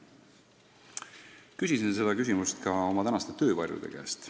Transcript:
Küsisin sedasama ka oma tänaste töövarjude käest.